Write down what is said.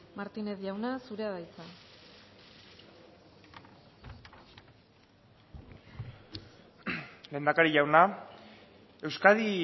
martínez jauna zurea da hitza lehendakari jauna euskadi